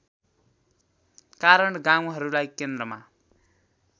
कारण गाउँहरूलाई केन्द्रमा